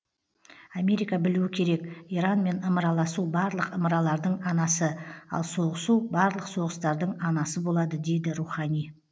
америка білуі керек иранмен ымыраласу барлық ымыралардың анасы ал соғысу барлық соғыстардың анасы болады дейді рухани